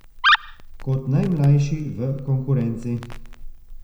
Kot najmlajši v konkurenci.